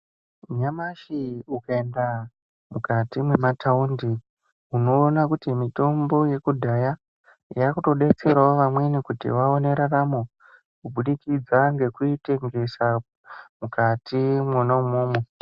Nyamashi ukaenda mukati mwemathaundi, unoona kuti mitombo yekudhaya, yaakutodetserawo vamweni, kuti vaone raramo kubudikidza ngekuitengesa, mukati mwona umwomwo.